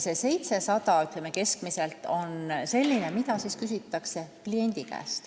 See 700 eurot keskmiselt on see raha, mida küsitakse kliendi käest.